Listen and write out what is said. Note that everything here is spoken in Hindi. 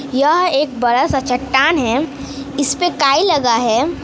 यह एक बड़ा सा चट्टान है इस पे काई लगा है।